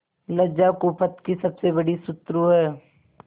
लज्जा कुपथ की सबसे बड़ी शत्रु है